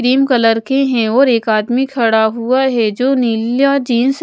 green colour के हैं और एक आदमी खड़ा हुआ है जो नीला जिन्स --